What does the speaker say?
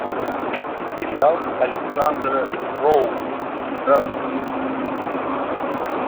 сериал александра роу здравствуй